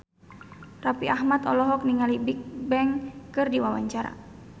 Raffi Ahmad olohok ningali Bigbang keur diwawancara